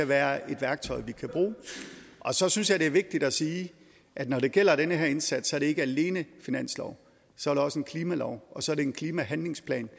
være et værktøj vi kan bruge og så synes jeg det er vigtigt at sige at når det gælder den her indsats er det ikke alene finansloven så er det også en klimalov og så er det en klimahandlingsplan